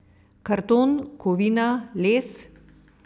Karton, kovina, les?